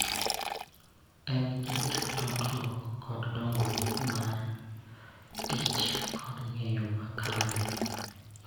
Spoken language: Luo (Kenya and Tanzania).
En gi tudruok gi dongruok mar tich kod ng�eyo tich mare.